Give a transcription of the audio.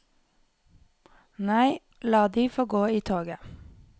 Nei, la de få gå i toget.